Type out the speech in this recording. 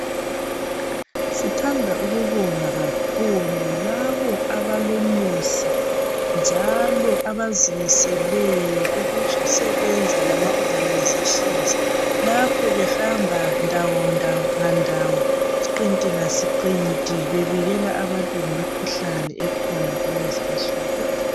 Sithanda ukubonga kakhulu labo abalomusa njalo abazimiseleyo ukusebenza lama Organisations lapho behamba ndawo ngandawo, siqinti ngasiqinti bebikela abantu ngemikhuhlane esikhona kulezinsuku.